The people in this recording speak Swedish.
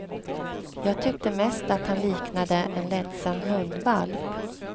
Jag tyckte mest att han liknade en ledsen hundvalp.